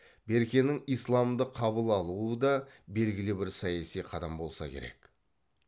беркенің исламды қабыл алуы да белгілі бір саяси қадам болса керек